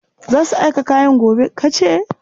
Za su aika kayan gobe, ka ce?